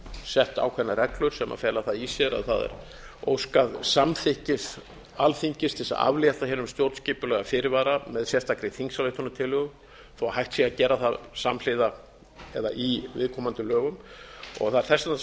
sett ákveðnar reglur sem fela það í sér að það er óskað samþykkis alþingis til að aflétta hinum stjórnskipulega fyrirvara með sérstakri þingsályktunartillögu þó hægt sé að gera það samhliða eða í viðkomandi lögum og það er þess vegna